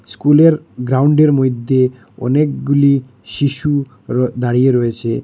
স্কুলের গ্রাউন্ডের মইধ্যে অনেকগুলি শিশু র দাঁড়িয়ে রয়েছে।